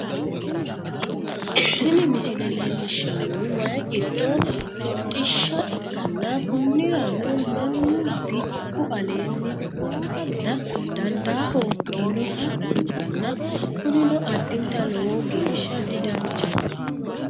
Tini misile leellishshannohu waye giddo hodhishsha ikkanna konnirano mannu bikku aleenni hogowameenna dandaa hoogginoha ikkanna kunino addinta lowo geeshsha didanchaho